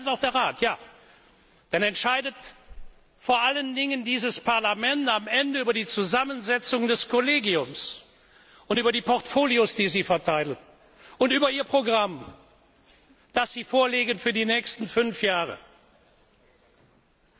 Dann entscheidet auch der Rat, ja, dann entscheidet am Ende vor allen Dingen dieses Parlament über die Zusammensetzung des Kollegiums und über die Portfolios, die Sie verteilen, und über Ihr Programm, das Sie für die nächsten fünf Jahre vorlegen.